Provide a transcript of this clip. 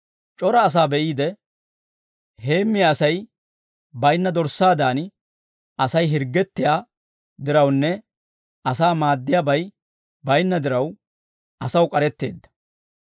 C'ora asaa be'iide, heemmiyaa Asay baynna dorssaadan Asay hirggettiyaa dirawunne asaa maaddiyaabay baynna diraw, asaw k'aretteedda.